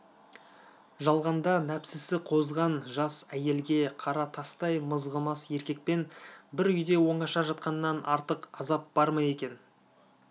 жалғанда нәпсісі қозған жас әйелге қара тастай мызғымас еркекпен бір үйде оңаша жатқаннан артық азап бар ма екен